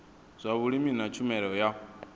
zwa vhulimi na tshumelo ya